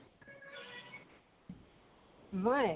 মই